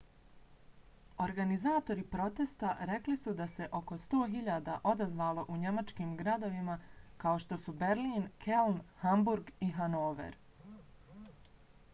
organizatori protesta rekli su da se oko 100.000 odazvalo u njemačkim gradovima kao što su berlin keln hamburg i hanover